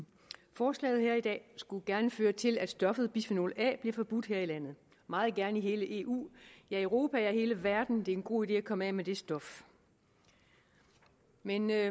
forslaget her i dag skulle gerne føre til at stoffet bisfenol a bliver forbudt her i landet meget gerne i hele eu ja i europa og i hele verden det er en god idé at komme af med det stof men vi er